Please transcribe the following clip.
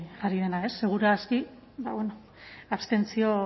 jarri dena ez segur aski ba bueno